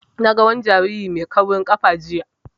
Na ga wani jariri mai kaurin ƙafa jiya